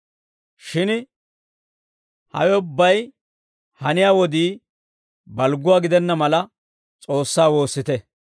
Shin hawe ubbay haniyaa wodii balgguwaa gidenna mala, S'oossaa woossite;